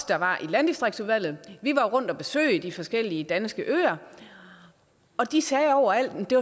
der var i landdistriktsudvalget rundt og besøge de forskellige danske øer og de sagde overalt det